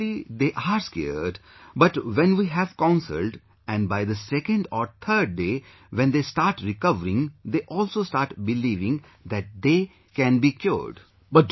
Initially, they are scared, but when we have counselled and by the second or third day when they start recovering, they also start believing that they can be cured